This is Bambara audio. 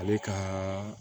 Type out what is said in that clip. Ale ka